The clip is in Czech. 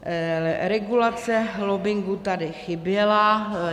Regulace lobbingu tady chyběla.